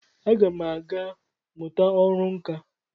Agam aga muta oru nka.